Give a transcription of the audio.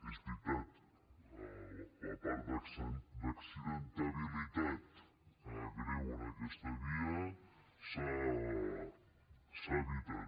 és veritat la part d’accidentalitat greu en aquesta via s’ha evitat